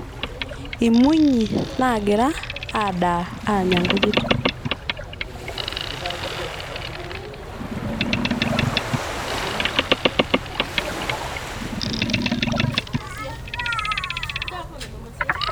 Imunyi nagira adaa anay nkujit